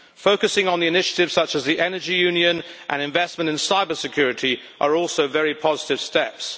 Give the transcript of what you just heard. Focusing on initiatives such as the energy union and investment in cyber security are also very positive steps.